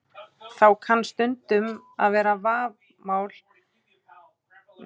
Þá kann stundum að vera vafamál hvað skuli telja fullgilt, sjálfstætt ríki og hvað ekki.